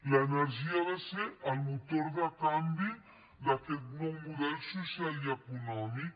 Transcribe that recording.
l’energia ha de ser el motor de canvi d’aquest nou model social i econòmic